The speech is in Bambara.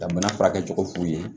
Ka bana furakɛcogo f'u ye